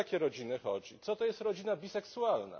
O jakie rodziny chodzi? Co to jest rodzina biseksualna?